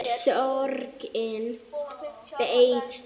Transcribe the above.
Að sorgin beið.